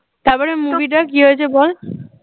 তারপর movie টার কি হয়েছে বল